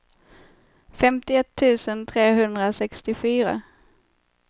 femtioett tusen trehundrasextiofyra